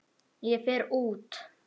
Ég fer út.